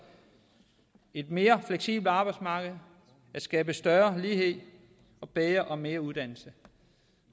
et mere fleksibelt arbejdsmarked og at skabe større lighed og bedre og mere uddannelse